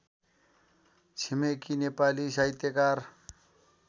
छिमेकी नेपाली साहित्यकार